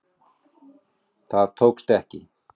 Það tókst ekki.